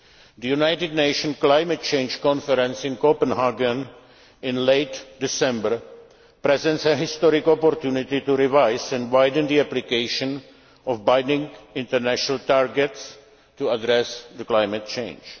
critical. The United Nations Climate Change Conference in Copenhagen in late December presents a historic opportunity to revise and widen the application of binding international targets to address climate